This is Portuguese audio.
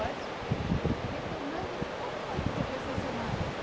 Pode? Retomando, como foi que você conheceu o seu marido?